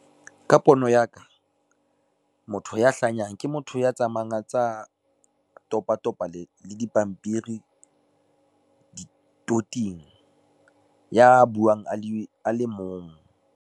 Ka pono ya ka motho ya hlanyang ke motho ya tsamayang a ntsa topa topa le dipampiri di toting, ya buang a le mong.